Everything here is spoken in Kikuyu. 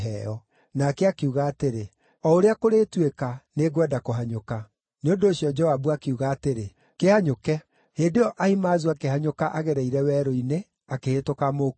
Nake akiuga atĩrĩ, “O ũrĩa kũrĩtuĩka, nĩngwenda kũhanyũka.” Nĩ ũndũ ũcio Joabu akiuga atĩrĩ, “Kĩhanyũke!” Hĩndĩ ĩyo Ahimaazu akĩhanyũka agereire werũ-inĩ, akĩhĩtũka Mũkushi.